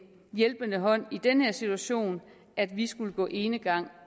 hjælpende hånd i den her situation at vi skulle gå enegang